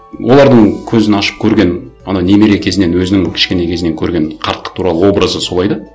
олардың көзін ашып көрген ана немере кезінен өзінің кішкене кезінен көрген қарттық туралы образы солай да